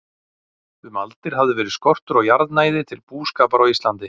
Um aldir hafði verið skortur á jarðnæði til búskapar á Íslandi.